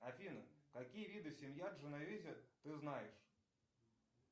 афина какие виды семян дженовезе ты знаешь